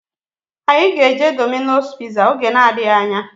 Anyị ga-eje Domino's piza oge na-adịghị anya